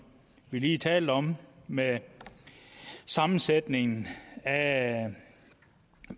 vi lige talte om med sammensætning af